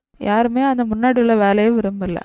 யாருமே அந்த முன்னாடி உள்ள வேலையை விரும்பல